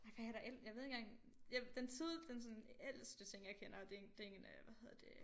Ja hvad er der ellers jeg ved ikke engang ja den tid den sådan ældste ting jeg kender det en det en øh hvad hedder det